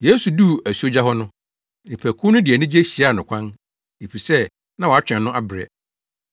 Yesu duu asuogya hɔ no, nnipakuw no de anigye hyiaa no kwan, efisɛ na wɔatwɛn no abrɛ.